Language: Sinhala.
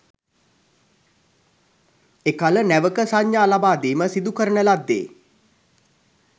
එකළ නැවක සංඥා ලබාදීම සිදුකරන ලද්දේ